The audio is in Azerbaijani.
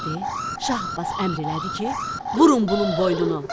Şah Abbas əmr elədi ki, vurun bunun boynunu.